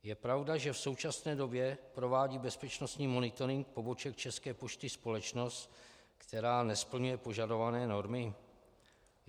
Je pravda, že v současné době provádí bezpečnostní monitoring poboček České pošty společnost, která nesplňuje požadované normy?